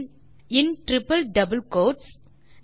பின் triple double quotes களில்